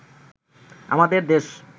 আমাদের দেশ